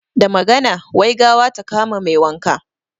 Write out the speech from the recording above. Da magana, wai gawa ta kama mai wanka.